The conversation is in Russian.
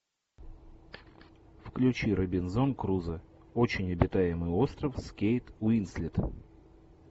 включи робинзон крузо очень обитаемый остров с кейт уинслет